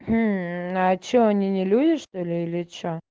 а что они не люди что ли или